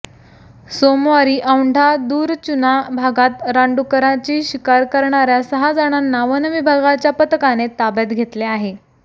सोमवारी औंढा दूरचुना भागात रानडुकराची शिकार करणार्या सहा जणांना वनविभागाच्या पथकाने ताब्यात घेतले आहे